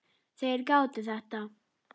Þeir gátu þetta.